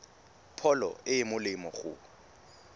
pholo e e molemo go